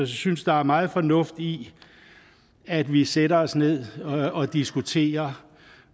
synes der er meget fornuft i at vi sætter os ned og diskuterer